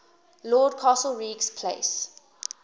lord castlereagh's place